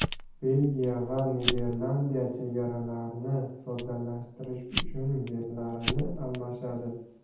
Belgiya va Niderlandiya chegaralarni soddalashtirish uchun yerlarini almashadi.